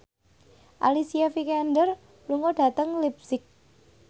Alicia Vikander lunga dhateng leipzig